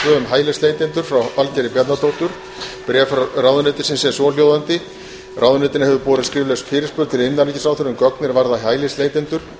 hælisleitanda frá valgerði bjarnadóttur og merði árnasyni bréf ráðuneytisins er svohljóðandi ráðuneytinu hefur borist skrifleg fyrirspurn til innanríkisráðherra um gögn er varða hælisleitendur